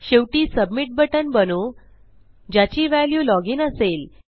शेवटी submit button बनवू ज्याची व्हॅल्यू लॉग इन असेल